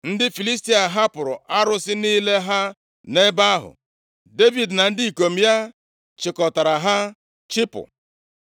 Ndị Filistia hapụrụ arụsị niile ha nʼebe ahụ. Devid na ndị ikom ya chịkọtara ha chịpụ.